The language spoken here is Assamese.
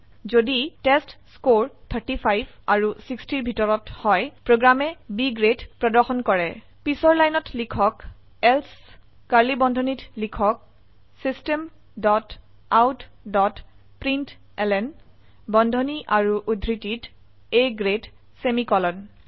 যদি টেষ্টস্কৰে 35 আৰু 60ৰ ভিতৰত হয় প্ৰোগ্ৰামে B গ্ৰেড প্ৰদৰ্শন কৰে পিছৰ লাইনত লিখক এলছে কাৰ্ড়লী বন্ধনীত লিখক system dot out dot println বন্ধনী আৰু উদ্ধৃতিত A গ্ৰেড সেমিকোলন